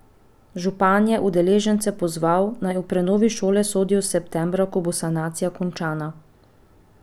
Župan je udeležence pozval, naj o prenovi šole sodijo septembra, ko bo sanacija končana.